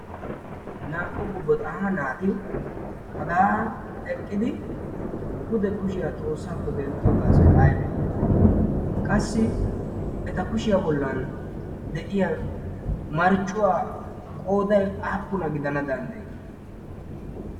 naa"u bubba xaana naati hagaa eqqidi pude kushiyaa xoossaakko denttiyoogaasoi aibee qassi eta kushiyaa bollan de'iya marccuwaa qooday aappuna gidana danddayii?